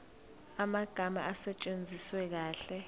amagama asetshenziswe kahle